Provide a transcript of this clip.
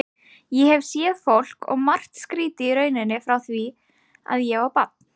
Ég hef séð fólk og margt skrítið í rauninni frá því að ég var barn.